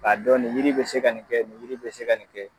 Ka dɔn nin yiri in be se ka nin kɛ ,nin yiri in be se ka nin kɛ.